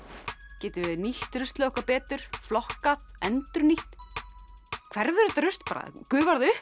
getum við nýtt ruslið okkar betur flokkað endurnýtt hverfur þetta rusl bara gufar það upp